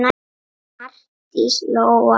Arndís Lóa.